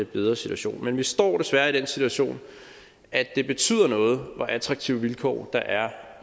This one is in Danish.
bedre situation men vi står desværre den situation at det betyder noget hvor attraktive vilkår der er